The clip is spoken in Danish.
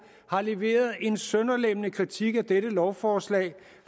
har leveret en sønderlemmende kritik af dette lovforslag